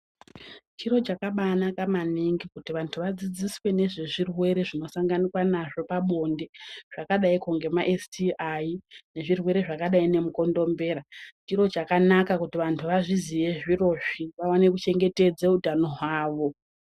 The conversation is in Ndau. Chiro chakabaanaka maningi kuti vantu vadzidziswe nezvezvirwere zvinosanganikwa nazvo pabonde, zvakadaiko ngemaesitiayi nezvlrwere zvakadai ngemukondombera. Chiro chakanaka kuti vantu vazviziye zvirozvi, vaone kuchengetedza utano hwavo.